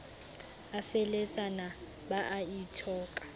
a feheletsana ba a ithoka